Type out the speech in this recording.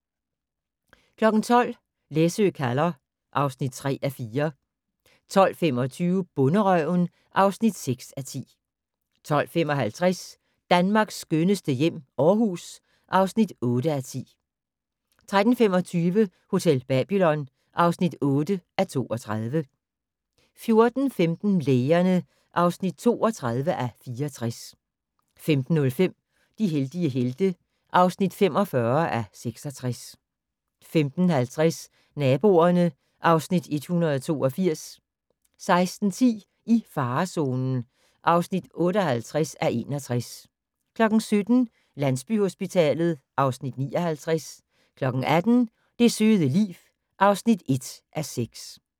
12:00: Læsø kalder (3:4) 12:25: Bonderøven (6:10) 12:55: Danmarks skønneste hjem - Aarhus (8:10) 13:25: Hotel Babylon (8:32) 14:15: Lægerne (32:64) 15:05: De heldige helte (45:66) 15:50: Naboerne (Afs. 182) 16:10: I farezonen (58:61) 17:00: Landsbyhospitalet (Afs. 59) 18:00: Det søde liv (1:6)